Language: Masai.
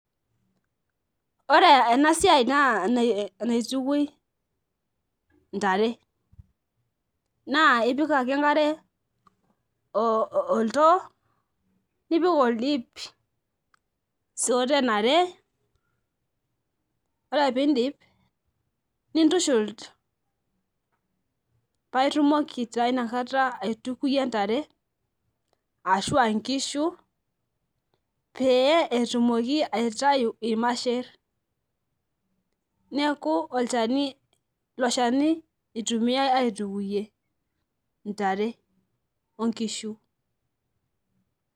Ore enasia na enaitukoi intare na ipik ake enkare oldoo nipik oldip sioten are ore pindip nintushul paitumoki na inakata aituko ntare ashu nkishu petumoki aitau irmasher neaku iloshani itumiai aitukuyie ntare onkishu.